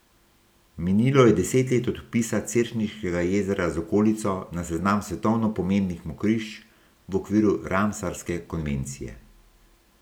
Minilo je deset let od vpisa Cerkniškega jezera z okolico na seznam svetovno pomembnih mokrišč v okviru ramsarske konvencije.